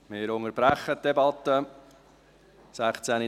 Wir unterbrechen die Debatte um 16.30 Uhr.